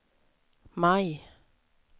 maj